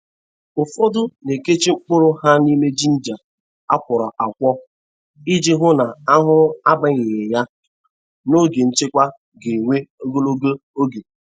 Ufodu na-ekechi mkpụrụ ha nime ginger a kwọrọ akwọ, iji hụ na ahuhu abanyeghị ya n'oge nchekwa ga-ewe ogologo oge.